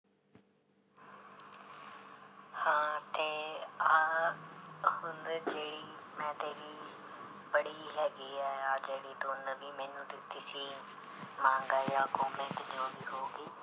ਹਾਂ ਤੇ ਆਹ ਹੁਣ ਜਿਹੜੀ ਮੈਂ ਤੇਰੀ ਪੜ੍ਹੀ ਹੈਗੀ ਹੈ ਆਹ ਜਿਹੜੀ ਤੂੰ ਨਵੀਂ ਮੈਨੂੰ ਦਿੱਤੀ ਸੀ ਮਾਂਗਾ ਜਾਂ ਕੋਮਿਕ ਜੋ ਵੀ ਹੋਊਗੀ।